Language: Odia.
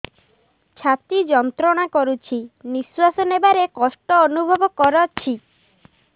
ଛାତି ଯନ୍ତ୍ରଣା କରୁଛି ନିଶ୍ୱାସ ନେବାରେ କଷ୍ଟ ଅନୁଭବ କରୁଛି